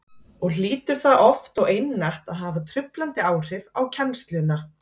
og hlýtur það oft og einatt að hafa truflandi áhrif á kennsluna